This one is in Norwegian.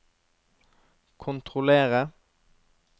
kontrollere